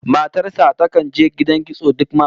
Matar sa takan je gidan kitso duk mako